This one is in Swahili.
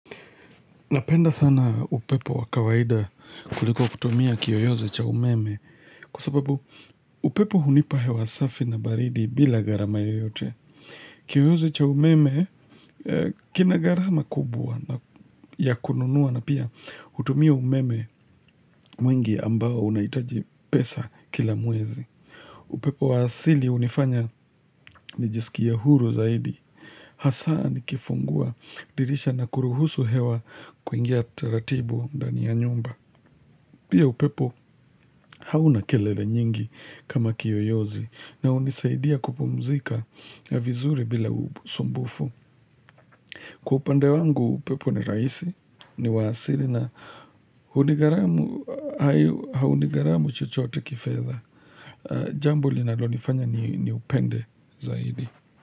Napenda sana upepo wa kawaida kuliko kutumia kiyoyozi cha umeme kwa sababu upepo hunipa hewa safi na baridi bila gharama yoyote. Kiyoyozi cha umeme kina gharama kubwa ya kununua na pia hutumia umeme mwingi ambao unahitaji pesa kila mwezi. Upepo wa asili hunifanya nijisikia huru zaidi. Hasaa nikifungua dirisha na kuruhusu hewa kuingia taratibu ndani ya nyumba. Pia upepo hauna kelele nyingi kama kiyoyozi na hunisaidia kupumzika ya vizuri bila usumbufu. Kwa upande wangu upepo ni rahisi ni wa asili na haunigharamu chochote kifedha. Jambo linalonifanya ni upende zaidi.